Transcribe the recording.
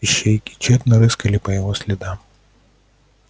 ищейки тщетно рыскали по его следам